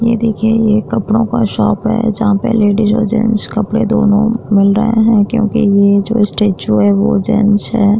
ये देखिए यह कपड़ो का शोप है जहा पे लेडिस और जेन्ट्स कपड़े दोनों मिल रहे हैं क्योंकि ये जो स्टेच्यु है वो जेन्ट्स है।